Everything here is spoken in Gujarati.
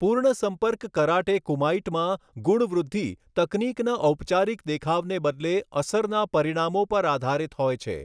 પૂર્ણ સંપર્ક કરાટે કુમાઈટમાં ગુણ વૃદ્ધિ તકનીકના ઔપચારિક દેખાવને બદલે અસરના પરિણામો પર આધારિત હોય છે.